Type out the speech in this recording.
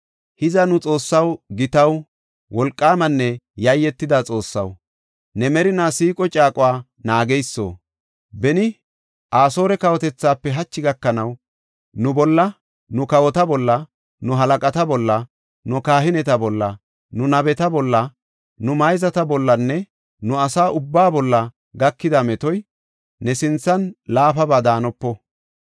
Hiza nu Xoossaw, gitaw, wolqaamanne yayetida Xoossaw, ne merinaa siiqo caaquwa naageyso, beni Asoore kawotethaafe hachi gakanaw nu bolla, nu kawota bolla, nu halaqata bolla, nu kahineta bolla, nu nabeta bolla, nu mayzata bollanne ne asa ubbaa bolla gakida metoy ne sinthan laafaba daanopo.